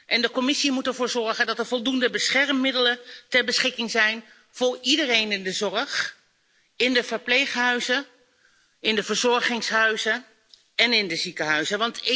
En de Commissie moet ervoor zorgen dat er voldoende beschermingsmiddelen ter beschikking zijn voor iedereen in de zorg, in de verpleeghuizen, in de verzorgingshuizen en in de ziekenhuizen.